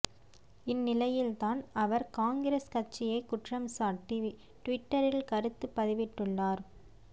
இந்நிலையில் தான் அவர் காங்கிரஸ் கட்சியை குற்றம்சாட்டி ட்விட்டரில் கருத்து பதிவிட்டுள்ளார்